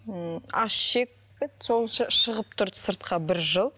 м аш ішек пе еді сол шығып тұрды сыртқа бір жыл